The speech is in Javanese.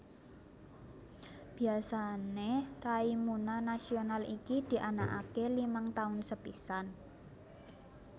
Biasane raimuna nasional iki dianakake limang taun sepisan